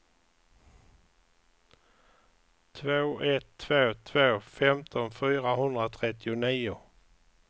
två ett två två femton fyrahundratrettionio